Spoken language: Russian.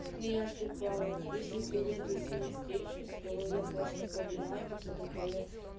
ну я ж типа если приеду и с ним встречусь то я просто погулять и все такое